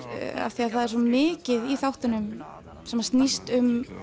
af því það er svo mikið í þáttunum sem snýst um